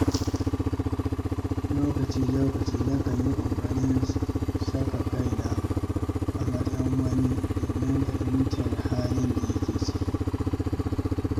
Lokaci-lokaci nakan yi ƙoƙarin saka kaina a matsayin wani domin fahimtar halin da yake ciki.